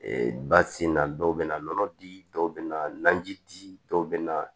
ba sen na dɔw bɛ na nɔnɔ di dɔw bɛ naji di dɔw bɛ na